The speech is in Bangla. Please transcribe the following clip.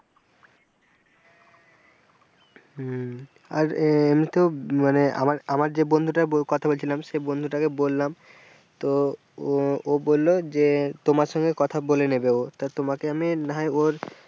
হ্যাঁ, আর এমনিতে তো মানে আমার আমার যে বন্ধুটার কথা বলছিলাম সে বন্ধুটাকে বললাম তো ও ও বলল যে তোমার সঙ্গে কথা বলে নেবে ও তা তোমাকে আমি না হয় ওর,